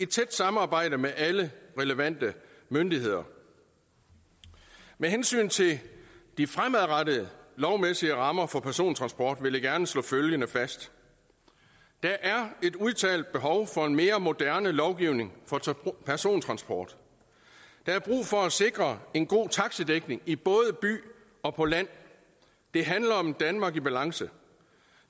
tæt samarbejde med alle relevante myndigheder med hensyn til de fremadrettede lovmæssige rammer for persontransport vil jeg gerne slå følgende fast der er et udtalt behov for en mere moderne lovgivning for persontransport der er brug for at sikre en god taxidækning i byer og på landet det handler om et danmark i balance